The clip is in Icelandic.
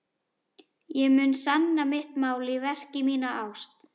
Ég mun sanna mitt mál í verki, mína ást.